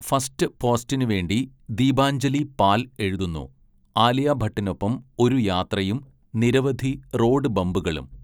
First പോസ്റ്റിനുവേണ്ടി ദീപാഞ്ജലി പാൽ എഴുതുന്നു, ആലിയ ഭട്ടിനൊപ്പം ഒരു യാത്രയും നിരവധി റോഡ് ബമ്പുകളും.